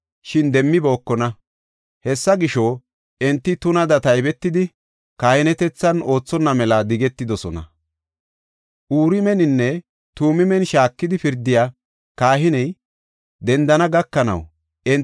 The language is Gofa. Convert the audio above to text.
Uriimeninne Tumiimen shaakidi pirdiya kahiney dendana gakanaw enti geeshsha kathaafe maanaw danda7onnaysa Yihuda haareysi entaw odis.